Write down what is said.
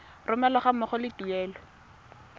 romelwa ga mmogo le tuelo